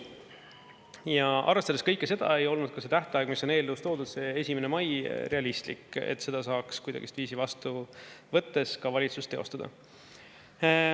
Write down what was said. Ja arvestades kõike seda ei olnud ka see tähtaeg, mis on eelnõus toodud, see 1. mai, realistlik, et seda saaks kuidagiviisi vastu võttes ka valitsus teostada.